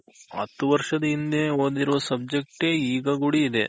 ಹತ್ತ್ ವರ್ಷದ ಹಿಂದೆ ಓದಿರೋ subject ಈಗ ಕೂಡ ಇದೆ